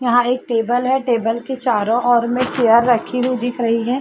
यहाँ एक टेबल है। टेबल के चारो ओर में चेर रखी हुई दिख रही है।